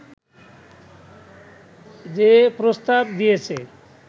যে প্রস্তাব দিয়েছে